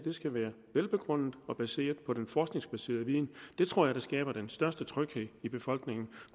skal være velbegrundet og baseret på den forskningsbaserede viden det tror jeg skaber den største tryghed i befolkningen